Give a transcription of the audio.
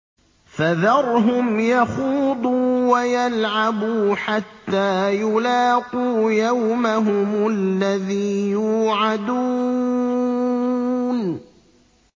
فَذَرْهُمْ يَخُوضُوا وَيَلْعَبُوا حَتَّىٰ يُلَاقُوا يَوْمَهُمُ الَّذِي يُوعَدُونَ